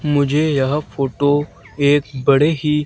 मुझे यह फोटो एक बड़े ही--